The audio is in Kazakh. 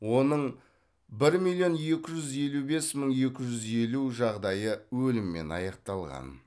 оның бір миллион екі жүз елу бес мың екі жүз елу жағдайы өліммен аяқталған